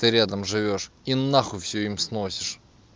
ты рядом живёшь и нахуй всё им сносишь